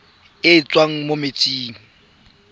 e e tswang mo metsing